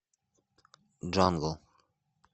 джангл